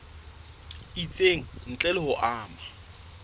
itseng ntle le ho ama